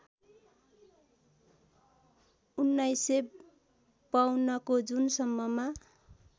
१९५२ को जुन सम्ममा